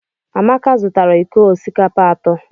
Amaka zụtara iko osikapa atọ.